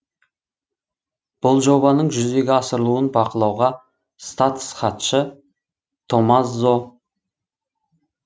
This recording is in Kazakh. бұл жобаның жүзеге асырылуын бақылауға статс хатшы томмазо